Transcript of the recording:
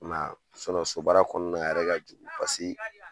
I m'a ye a so barara kɔnɔna a yɛrɛ ka jugu paseke